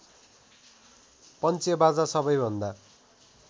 पञ्चेबाजा सबैभन्दा